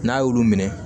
N'a y'olu minɛ